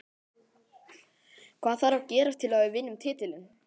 Hvað þarf að gerast til að við vinnum titilinn?